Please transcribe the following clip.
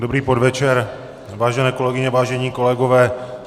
Dobrý podvečer, vážené kolegyně, vážení kolegové.